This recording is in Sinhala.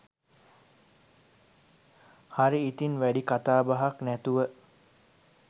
හරි ඉතින් වැඩි කතාබහක් නැතුව